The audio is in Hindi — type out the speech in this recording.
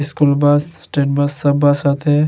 इस्कूल बस स्टेट बस सब बस आते है।